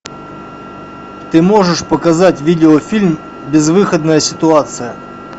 ты можешь показать видеофильм безвыходная ситуация